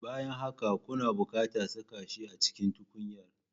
Bayan haka, kuna buƙatar saka shi a cikin tukunyar